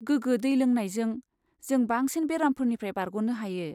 गोगो दै लोंनायजों, जों बांसिन बेरामफोरनिफ्राय बारग'नो हायो।